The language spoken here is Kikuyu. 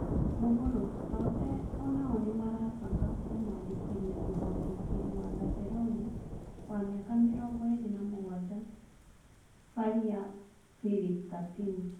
(Mgũru) Totee o-nao nĩmarabanga kũmũandĩkithia mũtharĩkĩri wa Baselona wa mĩaka mĩrongoĩrĩ na-mũgwanja Baria Philip Katino.